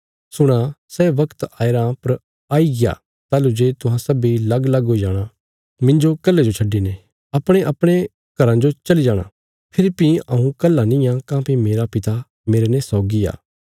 सुणो सै बगत आया रां पर आईग्या ताहलूं जे तुहां सब्बीं लगलग हुई जाणा मिन्जो कल्हे जो छड्डिने अपणेअपणे घराँ जो चली जाणा फेरी भीं हऊँ कल्हा निआं काँह्भई मेरा पिता मेरने सौगी आ